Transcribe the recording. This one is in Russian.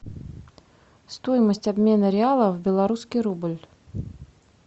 стоимость обмена реала в белорусский рубль